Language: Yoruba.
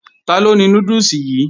Taló ni núdùsì yìí?